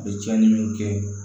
A bɛ tiɲɛni min kɛ